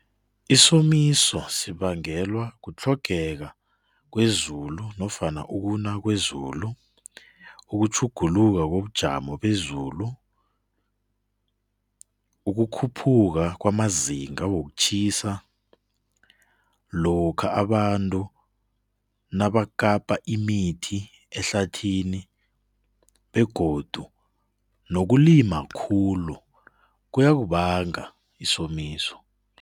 Isomiso sibangeka kutlhogeka kwezulu nofana ukuna kwezulu, ukutjhuguluka kobujamo bezulu, ukukhuphuka kwamazinga wokutjhisa, lokha abantu nabakapa imithi ehlathini begodu nokulima khulu kuyasibanga isomiso.